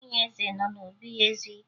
Nwunye eze nọ n'obi ya ezu ike